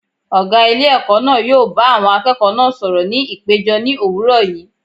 Ọ̀gá ilé ẹ̀kọ́ náà yóò bá àwọn akẹ́kọ̀ọ́ náà sọ̀rọ̀ ní ìpéjọ ní òwúrọ̀ yìí.